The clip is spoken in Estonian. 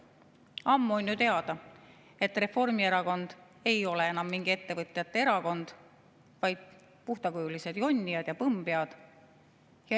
Ammu on ju teada, et Reformierakond ei ole enam mingi ettevõtjate erakond, vaid puhtakujulised jonnijad ja põmmpead.